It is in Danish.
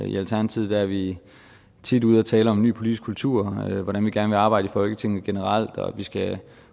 i alternativet er vi tit ude at tale om en ny politisk kultur og hvordan vi gerne vil arbejde i folketinget generelt og at vi skal